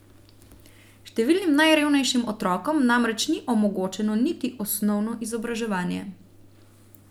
Številnim najrevnejšim otrokom namreč ni omogočeno niti osnovno izobraževanje.